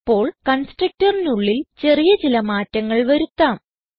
ഇപ്പോൾ constructorനുള്ളിൽ ചെറിയ ചില മാറ്റങ്ങൾ വരുത്താം